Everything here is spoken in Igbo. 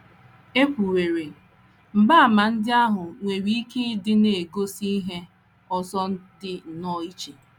E kwuwerị, mgbaàmà ndị ahụ nwere ike ịdị na - egosi ihe ọzọ dị nnọọ iche.